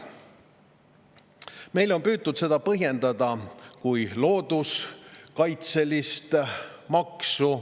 Meile on püütud seda põhjendada kui looduskaitselist maksu.